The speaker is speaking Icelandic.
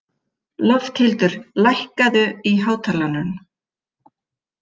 Lofthildur, hækkaðu í hátalaranum.